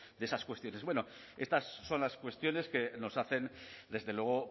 de esas cuestiones bueno estas son las cuestiones que nos hacen desde luego